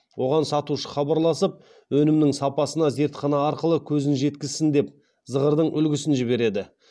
оған сатушы хабарласып өнімнің сапасына зертхана арқылы көзін жеткізсін деп зығырдың үлгісін жібереді